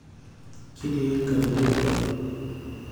Kitii nkatitn torrok.